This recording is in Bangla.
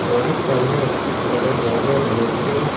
বাড়ির সামনে একটি খোলা জায়গা রয়েছে।